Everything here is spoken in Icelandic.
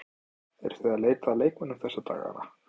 Eruð þið að leita að leikmönnum þessa dagana?